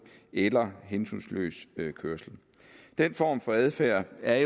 eller hensynsløs kørsel den form for adfærd er